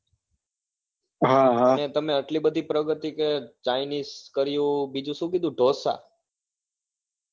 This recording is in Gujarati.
હા હા અને તમે એટલી બધી પ્રગતિ કરી chinese કર્યું બીજું શું કીધું